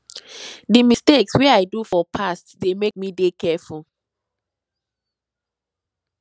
di mistakes wey i do for past dey make me dey careful